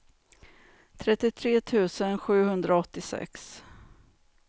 trettiotre tusen sjuhundraåttiosex